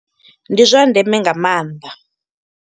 Ndi zwa ndeme nga maanḓa.